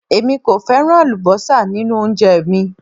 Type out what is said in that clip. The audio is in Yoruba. Èmi kò fẹ́ràn àlúbósà nínú oúnjẹ mi